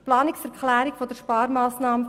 Die Planungserklärung zur Sparmassnahme